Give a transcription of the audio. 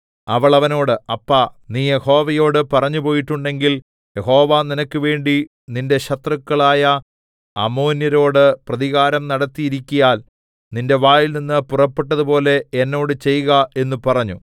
അവൾ അവനോട് അപ്പാ നീ യഹോവയോട് പറഞ്ഞുപോയിട്ടുണ്ടെങ്കിൽ യഹോവ നിനക്ക് വേണ്ടി നിന്റെ ശത്രുക്കളായ അമ്മോന്യരോട് പ്രതികാരം നടത്തിയിരിക്കയാൽ നിന്റെ വായിൽനിന്ന് പുറപ്പെട്ടതുപോലെ എന്നോട് ചെയ്ക എന്ന് പറഞ്ഞു